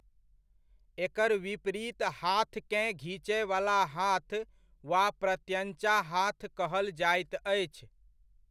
एकर विपरीत हाथकेँ घीचयवला हाथ वा प्रत्यञ्चा हाथ कहल जाइत अछि।